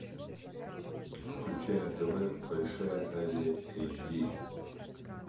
включай на тв большая азия эйч ди